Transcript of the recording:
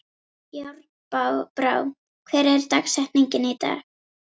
Járnbrá, hver er dagsetningin í dag?